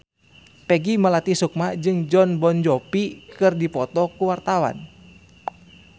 Peggy Melati Sukma jeung Jon Bon Jovi keur dipoto ku wartawan